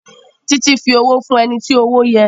Titi fí òwò fún ẹní tí owó yé.